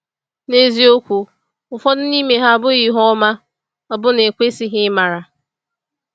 N’eziokwu, ụfọdụ n’ime ha abụghị ihe ọma, ọbụna ekwesịghị ịmara.